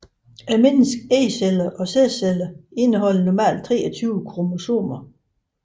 Menneskets ægceller og sædceller indeholder normalt 23 kromosomer